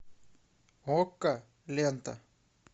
окко лента